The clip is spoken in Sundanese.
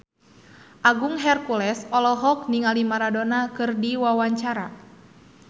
Agung Hercules olohok ningali Maradona keur diwawancara